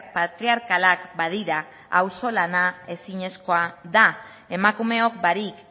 patriarkalak badira auzolana ezinezkoa da emakumeok barik